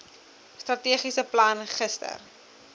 strategiese plan gister